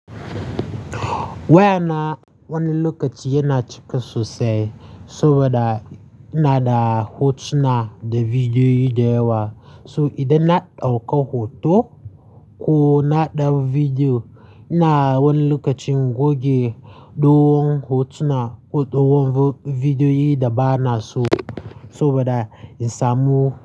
Waya na wani lokaci yana cika sosai saboda ina da hotuna da bidiyoyi dayawa. So idan na ɗauko hoto ko na ɗau video, ina wani lokacin goge dogon hotuna ko dogon bidiyoyi da ba na so saboda in samu.